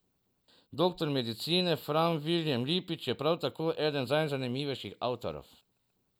Doktor medicine Fran Vilijem Lipič je prav tako eden najzanimivejših avtorjev.